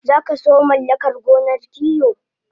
Sakaso mallakar gonar kiwo